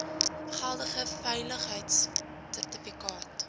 n geldige veiligheidsertifikaat